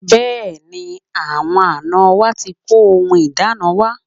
Bẹ́ẹ̀ni, àwọn àná wa ti kó ohun ìdána wa